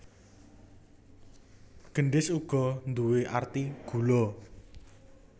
Gendhis uga nduwé arti gula